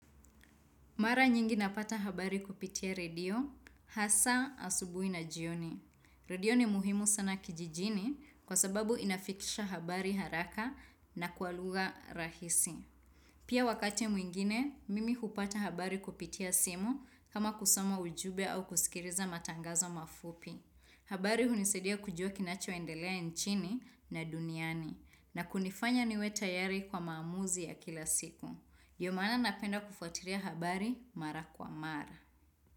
Mara nyingi napata habari kupitia redio, hasa asubuhi na jioni. Radio ni muhimu sana kijijini kwa sababu inafikisha habari haraka na kwa lugha rahisi. Pia wakati mwingine, mimi hupata habari kupitia simu kama kusoma ujumbe au kusikiliza matangazo mafupi. Habari hunisaidia kujua kinachoendelea nchini na duniani na kunifanya niwe tayari kwa maamuzi ya kila siku. Ndio maana napenda kufuatilia habari mara kwa mara.